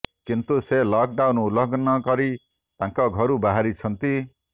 କିନ୍ତୁ ସେ lockdown ଉଲଂଘନ କରି ତାଙ୍କ ଘରୁ ବାହାରୁଛନ୍ତି